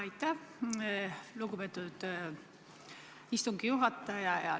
Aitäh, lugupeetud istungi juhataja!